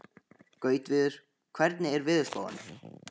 Gautviður, hvernig er veðurspáin?